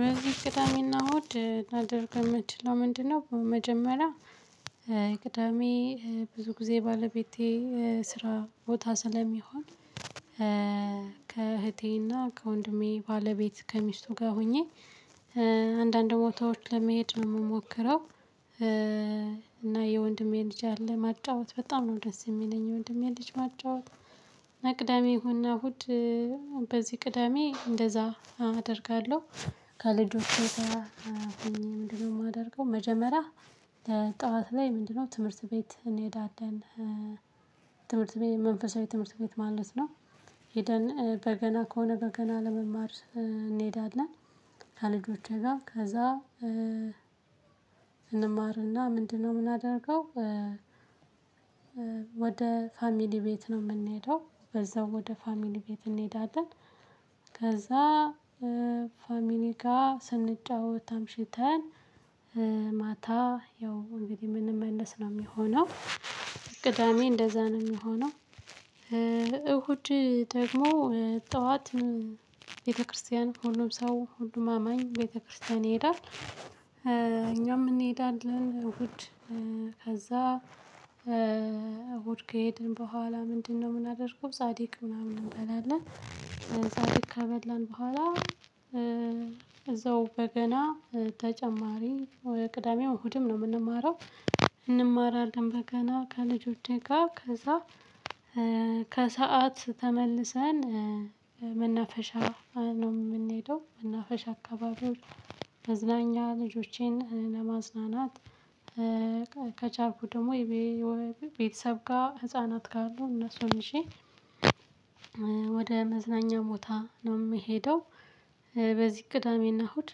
በዚህ ቅዳሜና እሁድ ላደርግ የምትችለው ምንድነው? በመጀመሪያ ቅዳሜ ብዙ ጊዜ ባለቤቴ ስራ ቦታ ስለሚሆን። ከእህቴና ከወንድሜ ባለቤት ከሚስቱ ጋር ሆኜ አንዳንድ ቦታዎች ለመሄድ ነው የምሞክረው። እና የወንድሜ ልጅ አለ ማጫወት በጣም ነው ደስ የሚለኝ የወንድሜ ልጅ ማጫወት። አቅዳሜ እሁድ በዚህ ቅዳሜ እንደዛ አደርጋለሁ። ከልጆቼ ጋር ሆኜ ምንድነው የማደርገው? መጀመሪያ ለጠዋት ላይ ምንድነው ትምህርት ቤት እንሄዳለን። ትምህርት ቤት መንፈሳዊ ትምህርት ቤት ማለት ነው። ሄደን በገና ከሆነ በገና ለመማር እንሄዳለን። ከልጆቼ ጋር ከዛ እንማርና ምንድነው የምናደርገው? ወደ ፋሚሊ ቤት ነው የምንሄደው በዛው ወደ ፋሚሊ ቤት እንሄዳለን። ከዛ ፋሚሊ ስንጫወት አምሽተን ማታ ያው እንግዲህ የምንመለስ ነው የሚሆነው። ቅዳሜ እንደዛ ነው የሚሆነው። እሁድ ደግሞ ጠዋት ቤተክርስቲያን ሁሉም ሰው ሁሉም አማኝ ቤተክርስቲያን ይሄዳል እኛም እንሄዳለን እሁድ። ከዛ እሁድ ከሄድን በኋላ ምንድነው ምናደርገው? ጻድቅ ምናምን እንበላለን ጻድቅ ከበላን በኋላ። እዛው በገና ተጨማሪ ወይ ቅዳሜው እሁድም ነው የምንማረው። እንማራለን በገና ከልጆቼ ጋር ከዛ ከሰአት ተመልሰን መናፈሻ ነው የምንሄደው። መናፈሻ አካባቢው መዝናኛ ልጆቼን ለማዝናናት ከቻልኩ ደግሞ ቤተሰብ ጋር ህፃናት ካሉ እነሱን ይዤ ወደ መዝናኛ ቦታ ነው የምሄደው። በዚህ ቅዳሜና እሁድ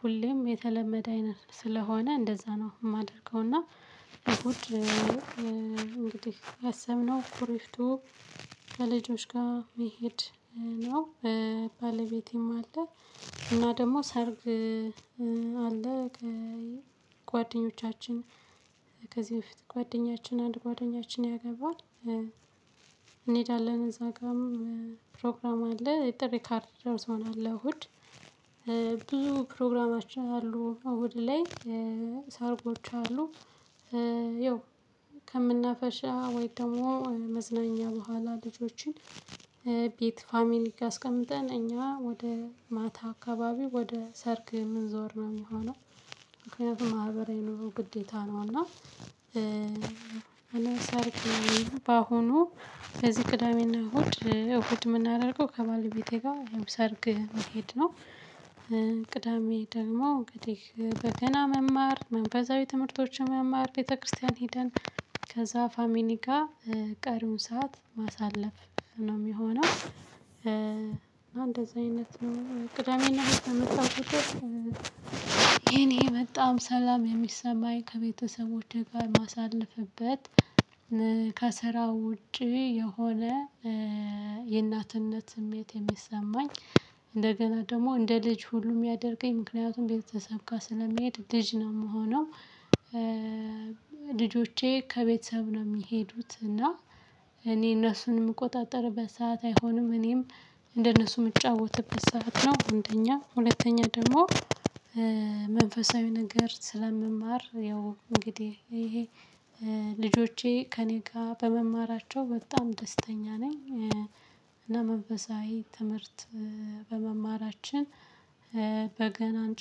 ሁሌም የተለመደ አይነት ስለሆነ እንደዛ ነው የማደርገው። እና እሁድ እንግዲህ ያሰብነው ኩሪፍቱ ከልጆች ጋር መሄድ ነው። ባለቤቴም አለ። እና ደግሞ ሰርግ አለ። ጓደኞቻችን ከዚህ በፊት ጓደኛችን አንድ ጓደኛችን ያገባል። እዛ ጋርም ፕሮግራም አለ የጥሪ ካርድ ደርሶናል ለእሁድ። ብዙ ፕሮግራማችን አሉ እሁድ ላይ ሰርጎች አሉ። ይው ከምናፈሻ ወይስ ደግሞ መዝናኛ በኋላ ልጆችን ቤት ፋሚሊ አስቀምጠን እኛ ወደ ማታ አካባቢ ወደ ሰርግ የምንዞር ነው የሚሆነው። ምክንያቱም ማህበራዊ ኑሮ ግዴታ ነው። እና በአሁኑ ከዚህ ቅዳሜና እሁድ እሁድ የምናደርገው ከባለቤቴ ጋር ይሄም ሰርግ መሄድ ነው። ቅዳሜ ደግሞ እንግዲህ በገና መማር መንፈሳዊ ትምህርቶችን መማር ቤተክርስቲያን ሄደን ከዛ ፋሚሊ ጋር ቀሪውን ሰዓት ማሳለፍ ነው የሚሆነው። ቅዳሜና እሁድ በመጣሁ ቁጥር የኔ በጣም ሰላም የሚሰማኝ ከቤተሰቦቼ ጋር ማሳልፍበት ከስራው ውጪ የሆነ የእናትነት ስሜት የሚሰማኝ እንደገና ደግሞ እንደ ልጅ ሁሉ የሚያደርገኝ ምክንያቱም ቤተሰብ ጋር ስለምሄድ ልጅ ነው የምሆነው። ልጆቼ ከቤተሰብ ነው የሚሄዱት እና እኔ እነሱን የምቆጣጠርበት ሰዓት አይሆንም። እኔም እንደነሱ የምጫወትበት ሰዓት ነው። አንደኛ ሁለተኛ ደግሞ መንፈሳዊ ነገር ስለምማር ያው እንግዲህ ይሄ ልጆቼ ከእኔ ጋር በመማራቸው በጣም ደስተኛ ነኝ። እና መንፈሳዊ ትምህርት በመማራችን በገናን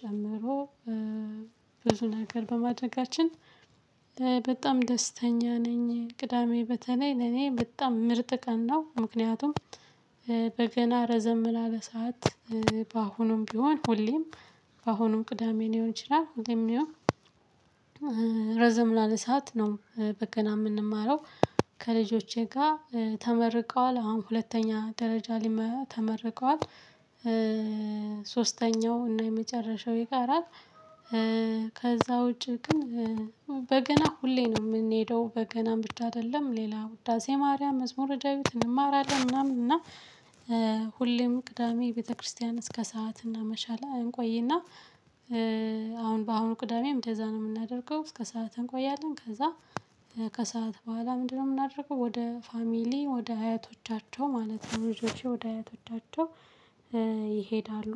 ጨምሮ ብዙ ነገር በማድረጋችን በጣም ደስተኛ ነኝ። ቅዳሜ በተለይ ለኔ በጣም ምርጥ ቀን ነው። ምክንያቱም በገና ረዘም ላለ ሰዓት በአሁኑም ቢሆን ሁሌም በአሁኑም ቅዳሜ ሊሆን ይችላል። እንድሁም ረዘም ላለ ሰዓት ነው። በገና የምንማረው ከልጆቼ ጋር ተመርቀዋል አሁን ሁለተኛ ደረጃ ተመርቀዋል። ሶስተኛው እና የመጨረሻው ይቀራል። ከዛ ውጪ ግን በገና ሁሌ ነው የምንሄደው በገና ብቻ አይደለም ሌላ ውዳሴ ማርያም መዝሙር ዳዊት እንማራለን። ምናምን እና ሁሌም ቅዳሜ ቤተክርስቲያን እስከ ሰዓት እና እናመሻል እንቆይና አሁን በአሁኑ ቅዳሜም እንደዛ ነው የምናደርገው። እስከ ሰዓት እንቆያለን ከዛ ከሰአት በኋላ ምንድነው የምናደርገው? ወደ ፋሚሊ ወደ አያቶቻቸው ማለት ነው። ልጆቼ ወደ አያቶቻቸው ይሄዳሉ።